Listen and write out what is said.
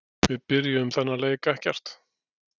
Við byrjuðum þennan leik ekkert.